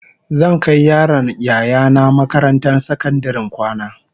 Zan kai yaron Yaya nah makarantar sakandaren kwana